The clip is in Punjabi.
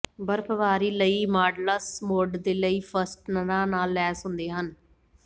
ਬਰਫ਼ਬਾਰੀ ਲਈ ਮਾਡਲਸ ਬੋਰਡ ਦੇ ਲਈ ਫਸਟਨਰਾਂ ਨਾਲ ਲੈਸ ਹੁੰਦੇ ਹਨ